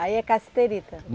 Aí é cassiterita?